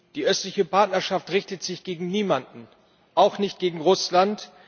Die Östliche Partnerschaft richtet sich gegen niemanden, auch nicht gegen Russland.